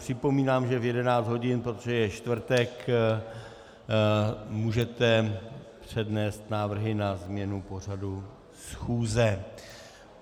Připomínám, že v 11 hodin, protože je čtvrtek, můžete přednést návrhy na změnu pořadu schůze.